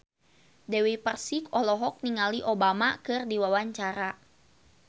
Dewi Persik olohok ningali Obama keur diwawancara